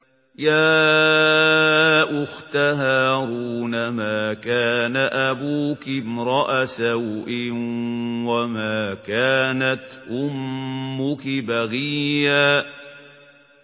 يَا أُخْتَ هَارُونَ مَا كَانَ أَبُوكِ امْرَأَ سَوْءٍ وَمَا كَانَتْ أُمُّكِ بَغِيًّا